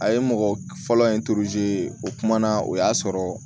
A ye mɔgɔ fɔlɔ in o kuma na o y'a sɔrɔ